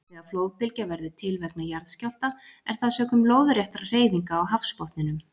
Þegar flóðbylgja verður til vegna jarðskjálfta er það sökum lóðréttra hreyfinga á hafsbotninum.